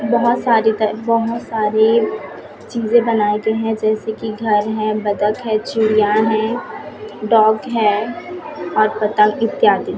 बहोत सारी तर बहोत सारी चीजे बनाए गए हैं जैसे कि घर है बतख है चूड़ियां है डॉग है और पतंग इत्यादि।